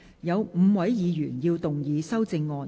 有5位議員要動議修正案。